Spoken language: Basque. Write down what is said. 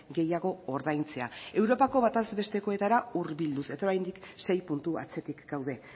gehiago ordaintzea europako bataz bestekoetara hurbilduz eta oraindik sei puntu atzetik gaude